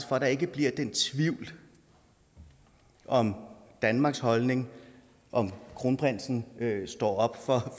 for at der ikke bliver den tvivl om danmarks holdning om kronprinsen står op